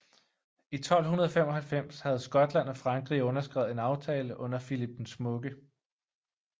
I 1295 havde Skotland og Frankrig underskrevet en aftale under Philip den Smukke